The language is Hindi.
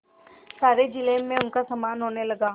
सारे जिले में उनका सम्मान होने लगा